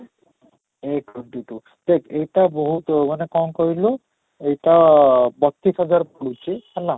A twenty two ଦେଖ ଏଇଟା ବହୁତ ମାନେ କ'ଣ କହିଲୁ, ସେଇଟା ବତିଶ ହଜାର ପଡୁଛି ହେଲା